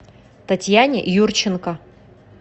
татьяне юрченко